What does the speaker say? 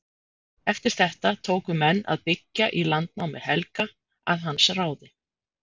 Eftir þetta tóku menn að byggja í landnámi Helga að hans ráði.